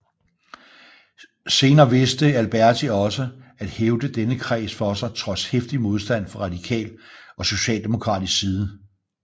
Senere vidste Alberti også at hævde denne kreds for sig trods heftig modstand fra radikal og socialdemokratisk side